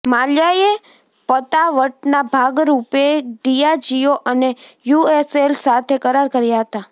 માલ્યાએ પતાવટના ભાગરૂપે ડિયાજિયો અને યુએસએલ સાથે કરાર કર્યા હતા